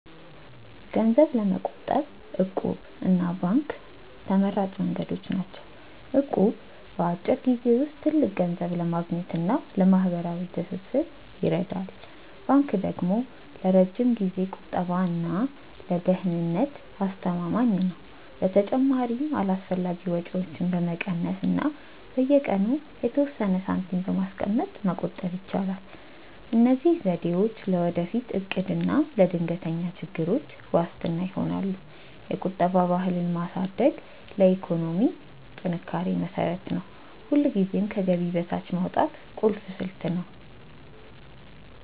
ገንዘብ ለመቆጠብ 'እቁብ' እና ባንክ ተመራጭ መንገዶች ናቸው። እቁብ በአጭር ጊዜ ውስጥ ትልቅ ገንዘብ ለማግኘት እና ለማህበራዊ ትስስር ይረዳል። ባንክ ደግሞ ለረጅም ጊዜ ቁጠባ እና ለደህንነት አስተማማኝ ነው። በተጨማሪም አላስፈላጊ ወጪዎችን በመቀነስ እና በየቀኑ የተወሰነ ሳንቲም በማስቀመጥ መቆጠብ ይቻላል። እነዚህ ዘዴዎች ለወደፊት እቅድ እና ለድንገተኛ ችግሮች ዋስትና ይሆናሉ። የቁጠባ ባህልን ማሳደግ ለኢኮኖሚ ጥንካሬ መሰረት ነው። ሁልጊዜም ከገቢ በታች ማውጣት ቁልፍ ስልት ነው።